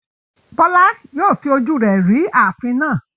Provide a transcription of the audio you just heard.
Bola yóò fi ojú rẹ̀ rí ààfin náà.